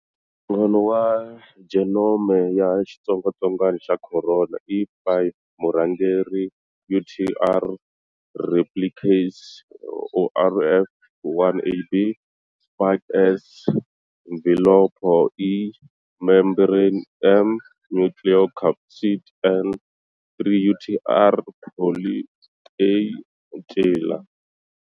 Nhlangano wa genome ya xitsongwatsongwana xa corona i 5-murhangeri-UTR-replicase, ORF1ab,-spike, S,-mvhilopho, E,-membrane, M,-nucleocapsid, N,-3UTR-poly, A, ncila.